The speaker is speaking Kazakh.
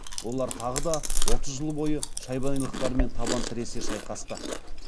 олар тағы да отыз жыл бойы шайбанилықтармен табан тіресе шайқасты